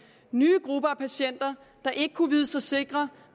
nye grupper af patienter der ikke kunne vide sig sikre